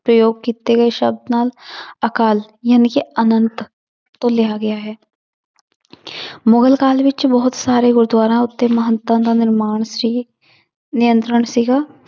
ਪ੍ਰਯੋਗ ਕੀਤੇ ਗਏ ਸ਼ਬਦ ਨਾਲ ਅਕਾਲ ਜਾਣੀਕਿ ਆਨੰਤ ਤੋ ਲਿਆ ਗਿਆ ਹੈ ਮੁਗਲ ਕਾਲ ਵਿੱਚ ਬਹੁਤ ਸਾਰੇ ਗੁਰਦੁਆਰਾਂ ਉੱਤੇ ਮਹੰਤਾਂ ਦਾ ਨਿਰਮਾਣ ਸੀ ਨਿਯੰਤਰਣ ਸੀਗਾ